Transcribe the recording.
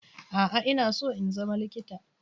A'a. Ina so in zama likita